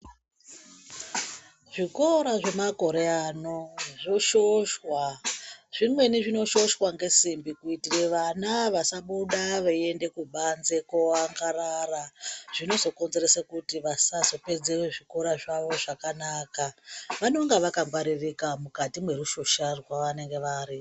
Zvikora zvemakore ano zvoshoshwa .Zvimweni zvinoshoshwa ngesimbi kuitire vana vasabuda veiende kubanze kooangarara zvinozokonzeresa kuti vasazopedza zvikoro zvawo zvakanaka. Vanenge vakangwaririka mukati mwerushosha rwavanenge vari.